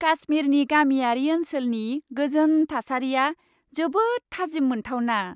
काश्मिरनि गामियारि ओनसोलनि गोजोन थासारिया जोबोद थाजिम मोनथावना।